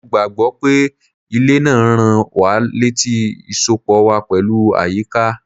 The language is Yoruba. Mo gbà gbọ́ pé ilẹ̀ náà ń rán wa létí ìsopọ̀ wa pẹ̀lú àyíká.